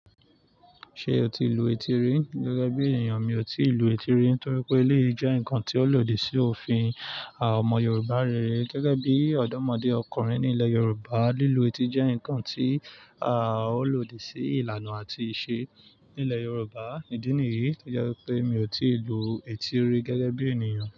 Ṣé o ti lu etí rí? Gẹ́gẹ́ bí ènìyàn, mi ò tíì lu etí rí torí pé léyìí jẹ́ nǹkan tí ó lòdì sí òfin àwọn ọmọ Yorùbá rere. Gẹ́gẹ́ bí ọ̀dọ́mọdé ọkùnrin ní ilẹ̀ Yorùbá, lílu etí jẹ́ nǹkan tí a ó lòdì sí ìlànà àti ìṣe nílẹ̀ Yorùbá. Í ìdí nìyí, to jẹ́ wípé mi ò tíì lu etí rí gẹ́gẹ́ bí ènìyàn.